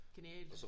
Genialt